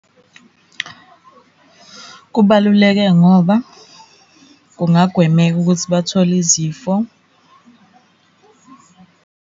Kubaluleke ngoba kungagwemeka ukuthi bathole izifo.